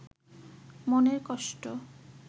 মনের কষ্ট